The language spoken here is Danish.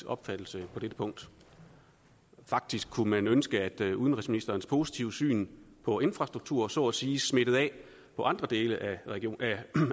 opfattelse på dette punkt faktisk kunne man ønske at udenrigsministerens positive syn på infrastruktur så at sige smittede af på andre dele